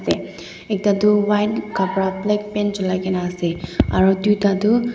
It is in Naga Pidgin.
ekta tu white kapra black pant cholai ke na ase aru dui ta tu--